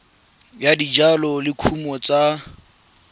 ya dijalo le dikumo tsa